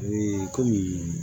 kɔmi